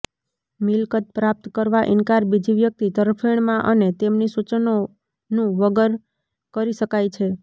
મિલકત પ્રાપ્ત કરવા ઇનકાર બીજી વ્યક્તિ તરફેણમાં અને તેમની સૂચનોનું વગર કરી શકાય છે